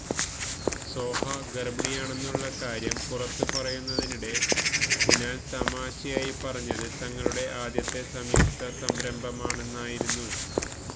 സോഹ ഗര്ഭിണിയാണെന്നുള്ള കാര്യം പുറത്തു പറയുന്നതിനിടെ കുനാല് തമാശയായി പറഞ്ഞത് തങ്ങളുടെ ആദ്യത്തെ സംയുക്ത സംരംഭമാണെന്നായിരുന്നു